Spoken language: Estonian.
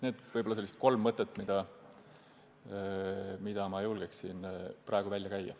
Need on need kolm mõtet, mida ma praegu julgen välja käia.